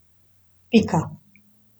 Pika.